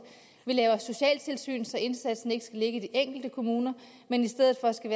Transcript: vi laver socialtilsyn så indsatsen ikke skal ligge i de enkelte kommuner men i stedet skal